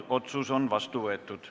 Otsus on vastu võetud.